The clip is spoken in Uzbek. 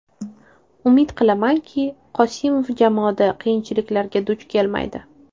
Umid qilamanki, Qosimov jamoada qiyinchiliklarga duch kelmaydi.